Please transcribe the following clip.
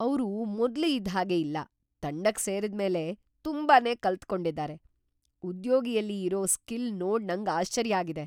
ಅವ್ರು ಮೊದ್ಲು ಇದ್ ಹಾಗೆ ಇಲ್ಲ ತಂಡಕ್ ಸೇರ್ದ್ ಮೇಲೆ ತುಂಬಾನೇ ಕಲ್ತು ಕೊಂಡಿದ್ದಾರೆ. ಉದ್ಯೋಗಿಯಲಿ ಇರೋ ಸ್ಕಿಲ್ ನೋಡ್ ನಂಗ್ ಆಶ್ಚರ್ಯ ಆಗಿದೆ.